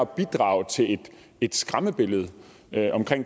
bidrage til et skræmmebillede af